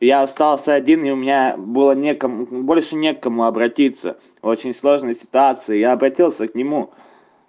я остался один и у меня было некому больше не к кому обратиться очень сложная ситуация и я обратился к нему